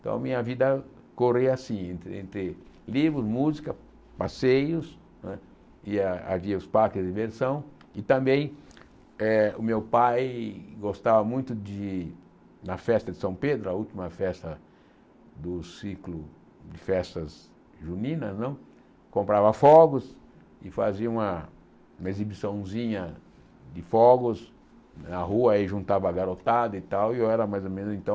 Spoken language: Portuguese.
Então a minha vida corria assim, entre livros, música, passeios não é, e ah havia os parques de diversão e também eh o meu pai gostava muito de, na festa de São Pedro, a última festa do ciclo de festas juninas não, comprava fogos e fazia uma exibiçãozinha de fogos na rua, aí juntava a garotada e tal, e eu era mais ou menos então